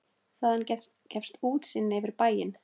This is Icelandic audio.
Þaðan gefst útsýni yfir bæinn.